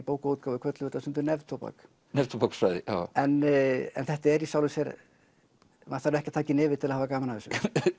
bókaútgáfu köllum þetta stundum neftóbak neftóbak neftóbaksfræði en þetta er í sjálfu sér maður þarf ekki að taka í nefið til að hafa gaman af þessu